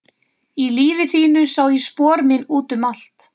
Í lífi þínu sá ég spor mín út um allt.